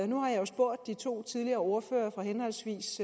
nu har jeg spurgt de to tidligere ordførere fra henholdsvis